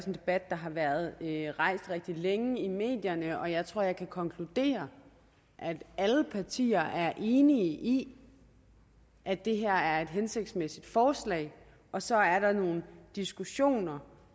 en debat der har været rigtig længe i medierne og jeg tror at jeg kan konkludere at alle partier er enige i at det her er et hensigtsmæssigt forslag så er der nogle diskussioner